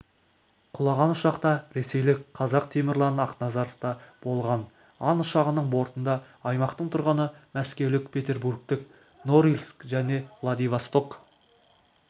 құлаған ұшақта ресейлік қазақтемірлан ақназаровта болған ан ұшағының бортында аймақтың тұрғыны мәскеулік петербургтік норильск және владивосток